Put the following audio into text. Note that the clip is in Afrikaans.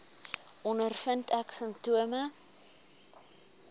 ondervind ek simptome